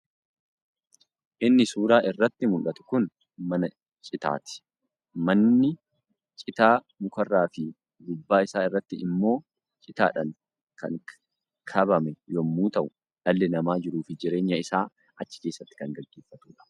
Inni suuraa irratti muldhatu kun mana citaati. Manni citaa mukaarraa fi gubbaa isaa irratti immo citaadhaan kan kabame yemmuu ta'u dhalli namaa jiruu fi jireenya isaa achi keessatti kan gaggeeffatuudha.